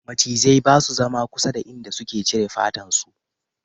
Macizai ba su zama kusa da inda suka cire fatan su